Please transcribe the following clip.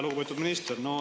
Lugupeetud minister!